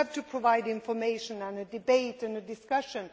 You have to provide information and a debate and a discussion.